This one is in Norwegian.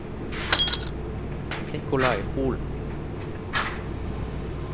Nikolai Holen